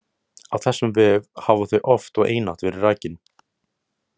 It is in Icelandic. Á þessum vef hafa þau oft og einatt verið rakin.